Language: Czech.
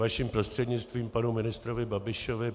Vaším prostřednictvím panu ministrovi Babišovi.